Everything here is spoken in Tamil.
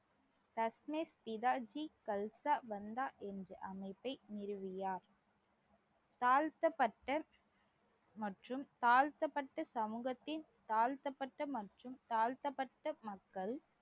தஸ்மித் பிதாஜ்ஜி கலசா பந்தா என்ற அமைப்பை நிறுவியார் தாழ்த்தப்பட்ட மற்றும் தாழ்த்தப்பட்ட சமூகத்தின் தாழ்த்தப்பட்ட மற்றும் தாழ்த்தப்பட்ட மக்கள்